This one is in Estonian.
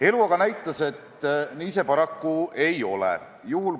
Elu aga näitas, et nii see paraku ei ole.